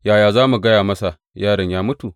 Yaya za mu gaya masa yaron ya mutu?